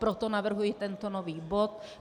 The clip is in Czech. Proto navrhuji tento nový bod.